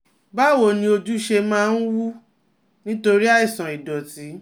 Báwo ni ojú ṣe máa ń wú nítorí àìsàn ìdọ̀tí?